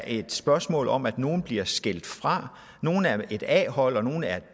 et spørgsmål om at nogle bliver skilt fra nogle er et a hold og nogle er